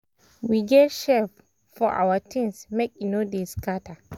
we get shelf for our things make e no dey scatter